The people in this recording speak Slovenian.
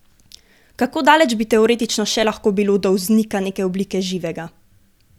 Kako daleč bi teoretično še lahko bilo do vznika neke oblike živega?